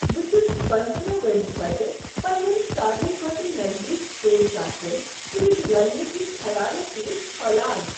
بہٕ چھُس پنژٔتٕرہ وری پتہٕ پننین ساروٕے کھوتہٕ نزدیک سکول سٲتھین سۭتۍ رلنہٕ کہ خیالیٕ سۭتی پھۄلان